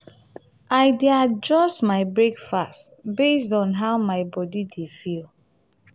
i dey adjust my breakfast based on how my body dey feel.